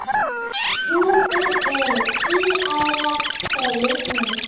Stjúpur eru tvíærar segir hún.